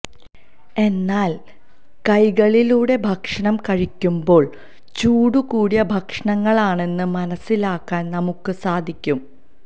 എന്നാല് കെകളിലുടെ ഭക്ഷണം കഴിക്കുമ്പോള് ചൂടു കുടിയ ഭക്ഷണങ്ങളാണെന്ന് മനസിലാക്കാന് നമുക്ക് സാധിക്കും